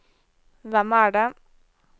hvem er det